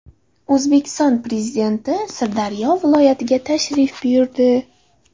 O‘zbekiston Prezidenti Sirdaryo viloyatiga tashrif buyurdi .